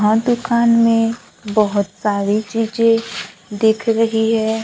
हां दुकान में बहोत सारी चीजें दिख रही है।